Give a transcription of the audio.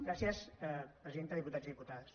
gràcies presidenta diputats i diputades